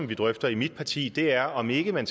vi drøfter i mit parti er om ikke at man